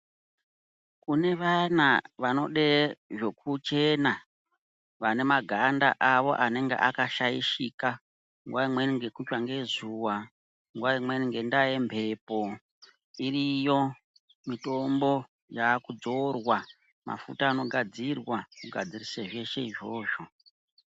Kune vayana vanode zvokuchena, vane maganda awo anenge akashaishika, nguwa imweni ngekutsva ngezuwa, nguwa imweni ngendaa yemhepo, dziriyo, mitombo, yakudzorwa mafuta anogadzirwa, kugadzirisa zveshe izvozvo.